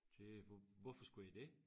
Det hvorfor skulle jeg det?